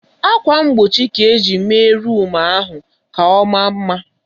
Akwa mgbochi ka-eji mee rum ahụ ka ọmaa mma.